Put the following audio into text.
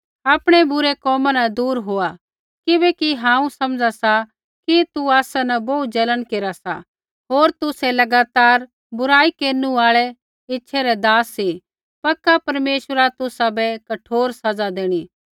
आपणै बुरै कोमा न दूर होआ किबैकि हांऊँ समझा सा कि तू आसा न बोहू जलन केरा सा होर तुसै लगातार बुराई केरनु आल़ै ईच्छा रै दास सी पक्का परमेश्वरा तुसाबै कठोर सज़ा देणी